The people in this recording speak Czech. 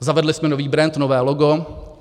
Zavedli jsme nový brend, nové logo.